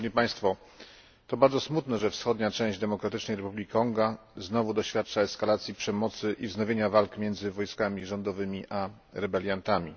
To bardzo smutne, że wschodnia część Demokratycznej Republiki Konga znowu doświadcza eskalacji przemocy i wznowienia walk między wojskami rządowymi a rebeliantami.